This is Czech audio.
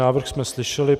Návrh jsme slyšeli.